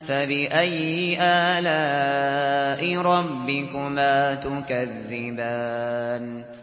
فَبِأَيِّ آلَاءِ رَبِّكُمَا تُكَذِّبَانِ